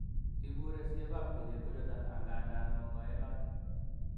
ibure siyokab kelyek kouchuton angandan mong'ooenot